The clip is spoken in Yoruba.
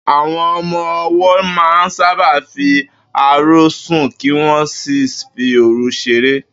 Àwo̩n o̩mo̩ o̩wó̩ máa ń sábà fi àárò̩ sùn kí wó̩n sì fi òru s̩eré